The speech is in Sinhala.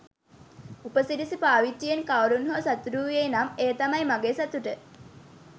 උපසිරැසි පාවිච්චියෙන් කවුරුන් හෝ සතුටු වූයේ නම් එය තමයි මගේ සතුට